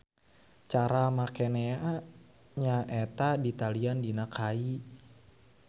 Cara makenea nya eta ditalian dina kai.